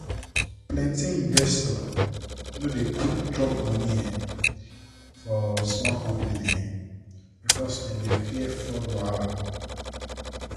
plenty investors no dey quick drop money um for small company um because dem dey fear fraud wahala.